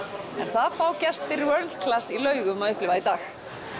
það fá gestir World Class að upplifa í dag